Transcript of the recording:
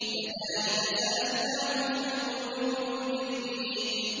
كَذَٰلِكَ سَلَكْنَاهُ فِي قُلُوبِ الْمُجْرِمِينَ